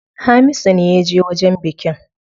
Hamisu ne yaje wajen bikin.